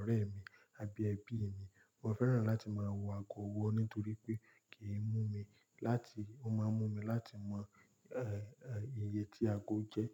orẹ̀ mi àbí ẹbí mi. Mo fẹ́ràn láti máa wọ ago ọwọ́ nítorí pé kì í mú mi láti, ó máa ń mú mi láti mọ, eh, eh, iye tí ago jẹ́